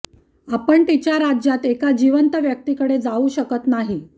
आपण तिच्या राज्यात एका जिवंत व्यक्तीकडे जाऊ शकत नाही